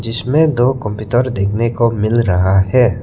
जिसमें दो कंप्यूटर देखने को मिल रहा है।